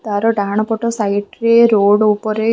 ତାର ଡାହାଣ ପଟ ସାଇଡ୍‌ ରେ ରୋଡ୍‌ ଉପରେ --